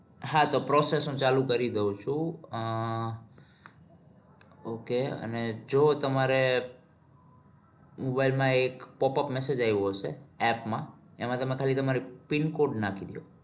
હા તો process હું ચાલુ કરી દઉં છું. અમ okay અને જો તમારે mobile માં એક popup message આવ્યો હશે. app માં. એમાં ખાલી તમારી PINcode નાખી દો.